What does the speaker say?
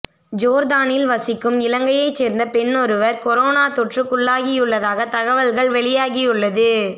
ஜோர்தானில் வசிக்கும் இலங்கையைச் சேர்ந்த பெண்ணொருவர் கொரோனா தொற்றுக்குள்ளாகியுள்ளகியுள்ளதாக தகவல்கள் வெளியாகியுள்ளது